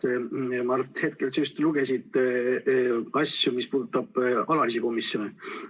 Näed, Mart, just praegu sa lugesid üles asju, mis puudutavad alatisi komisjone.